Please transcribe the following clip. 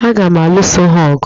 Aga m aluso ha ọgụ?